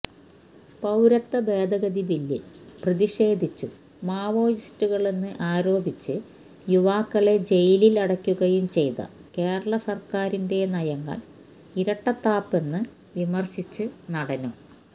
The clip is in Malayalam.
പൌരത്വ ഭേദഗതി ബില്ലില് പ്രതിഷേധിച്ചും മാവോയിസ്റ്റുകളെന്ന് ആരോപിച്ച് യുവാക്കളെ ജയിലില് അടക്കുകയും ചെയ്ത കേരളസര്ക്കാരിന്റെ നയങ്ങള് ഇരട്ടത്താപ്പെന്ന് വിമര്ശിച്ച് നടനും